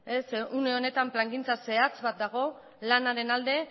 zeren une honetan plangintza zehatz bat dago lanaren alde